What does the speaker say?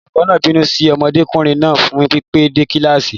Olùkọ́ náà ń bínú sí ọmọdékùnrin náà fún pípẹ́ dé kíláàsì.